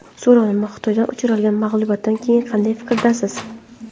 So‘rovnoma: Xitoydan uchralgan mag‘lubiyatdan keyin qanday fikrdasiz?